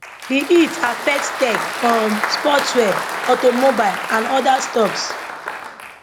di hit affect tech um sportswear auto mobile and oda stocks